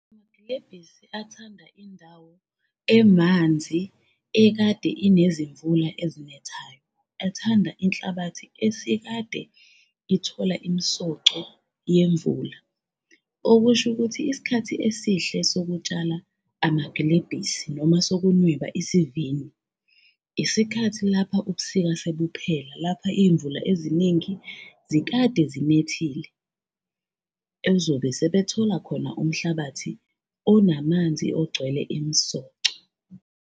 amagilebhisi athanda indawo emanzi ekade inezimvula ezinethayo, athanda inhlabathi esikade ithola imsoco yemvula, okusho ukuthi isikhathi esihle sokutshala amagilebhisi noma sokunweba isivini. Isikhathi lapha ubusika sebuphela, lapha iy'mvula eziningi zikade zinethile ezobe sebethole khona umhlabathi onamanzi ogcwele imsoco.